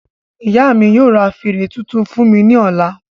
Ìyá mí yóò ra fèrè tuntun fún mi ní ọ̀la